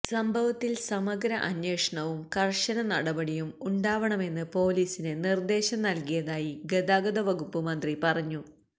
സംഭവത്തിൽ സമഗ്ര അന്വേഷണവും കർശന നടപടിയും ഉണ്ടാവണമെന്ന് പൊലീസിന് നിർദേശം നൽകിയതായി ഗതാഗത വകുപ്പ് മന്ത്രി പറഞ്ഞു